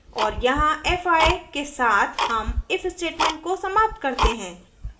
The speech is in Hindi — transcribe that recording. और यहाँ fi के साथ हम if statement को समाप्त करते हैं